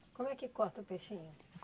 Como é que corta o peixinho?